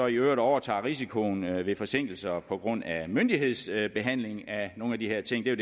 i øvrigt overtager risikoen ved forsinkelser på grund af myndighedsbehandling af nogle af de her ting det er